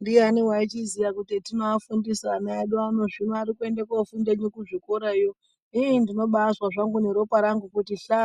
Ndiani aizviziva kuti zvatovafundisa vana vedu hino vanoenda kofunda kuzvikorayo inini ndinobazwa zvangu neropa rangu kuti hla